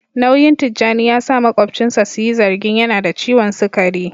Nauyin Tijjani ya sa makwabcinsa su yi zargin yana da ciwon sukari